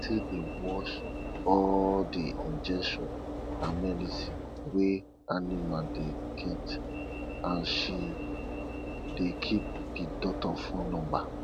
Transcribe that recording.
my aunty dey watch all di injection and medicine wey animals dey get and she dey keep di doctors phone numba